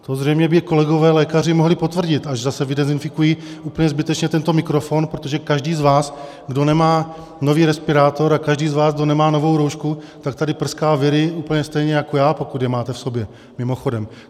To zřejmě by kolegové lékaři mohli potvrdit, až zase vydezinfikují úplně zbytečně tento mikrofon, protože každý z vás, kdo nemá nový respirátor, a každý z vás, kdo nemá novou roušku, tak tady prská viry úplně stejně jako já, pokud je máte v sobě, mimochodem.